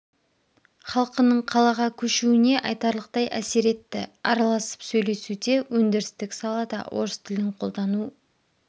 халқының қалаға көшуіне айтарлықтай әсер етті араласып сөйлесуде өндірістік салада орыс тілін қолдану